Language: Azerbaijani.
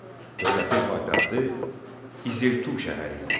Dövlətin paytaxtı İzirtu şəhəri idi.